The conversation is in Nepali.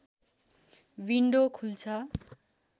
विन्डो खुल्छ